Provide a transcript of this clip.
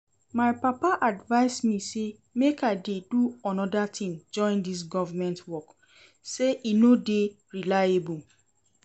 My papa advise me say make I dey do another thing join dis government work, say e no dey reliable